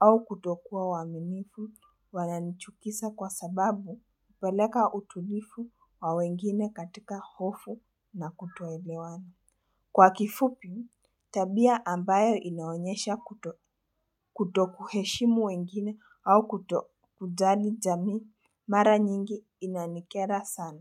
au kutokuwa waaminifu wananichukisa kwa sababu hupeleka utulifu wa wengine katika hofu na kutoelewana. Kwa kifupi, tabia ambayo inaonyesha kutokuheshimu wengine au kutojali jamii mara nyingi inanikera sana.